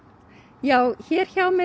já hér